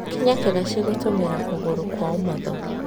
Kinya kĩraci gũtũmĩra kũgũrũ kwa ũmotho.